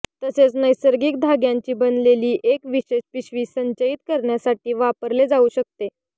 तसेच नैसर्गिक धाग्यांचे बनलेले एक विशेष पिशवी संचयित करण्यासाठी वापरले जाऊ शकते